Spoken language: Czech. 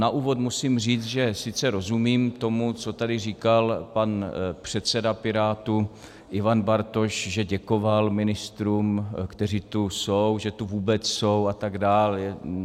Na úvod musím říct, že sice rozumím tomu, co tady říkal pan předseda Pirátů Ivan Bartoš, že děkoval ministrům, kteří tu jsou, že tu vůbec jsou, a tak dále.